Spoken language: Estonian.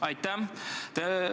Aitäh!